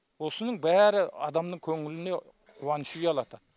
осының бәрі адамның көңіліне қуаныш ұялатады